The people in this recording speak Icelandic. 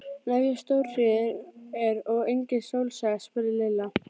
En ef stórhríð er og engin sól sést? spurði Lilla.